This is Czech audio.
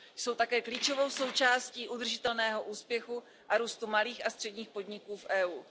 Jsou také klíčovou součástí udržitelného úspěchu a růstu malých a středních podniků v EU.